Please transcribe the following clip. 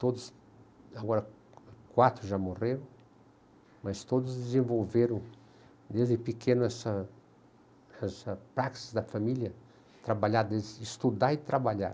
Todos, agora quatro já morreram, mas todos desenvolveram desde pequenos essa essa prática da família, trabalhar, estudar e trabalhar.